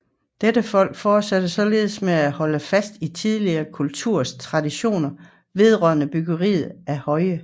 Dette folk fortsatte således med at holde fast i tidligere kulturers traditioner vedrørende byggeri af høje